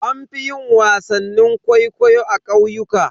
An fi yin wasannin kwaikwayo a ƙauyuka.